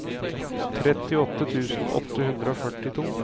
trettiåtte tusen åtte hundre og førtito